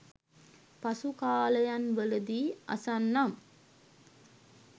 පසු කාලයන්වලදී අසන්නම්.